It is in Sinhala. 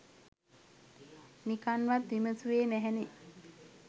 නිකන්වත් විමසුවේ නැහැනේ